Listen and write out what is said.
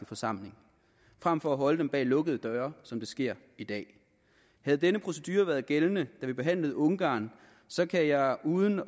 forsamling frem for at holde dem bag lukkede døre som det sker i dag havde denne procedure været gældende da vi behandlede ungarn så kan jeg uden